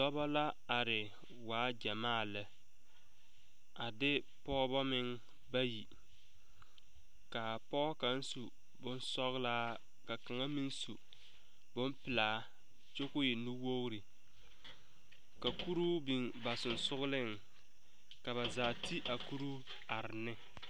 Dɔbo la are waa gyamaa lɛ a de pɔgeba meŋ bayi kaa pɔge kaŋ su boŋsɔglaa ka kaŋa meŋ su boŋ pilaa kyɔ ko e nu wogri ka kuruu biŋ ba sɔgsɔgliŋ ka ba zaa te a kuruu are ne.